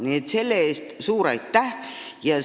Nii et selle eest suur aitäh!